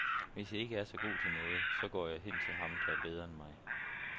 Hvis jeg ikke er så god til noget, så går jeg hen til ham, der er bedre end mig.